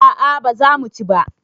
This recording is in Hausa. a a ba za mu ci ba